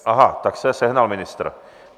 Aha, tak se sehnal ministr.